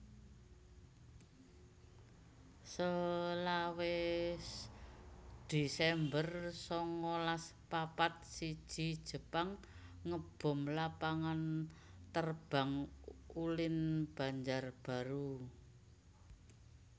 selawe desember sangalas papat siji Jepang ngebom Lapangan Terbang Ulin Banjarbaru